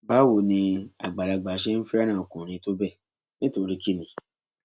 báwo ni àgbàlagbà ṣe ń fẹràn ọkùnrin tó bẹẹ nítorí kínní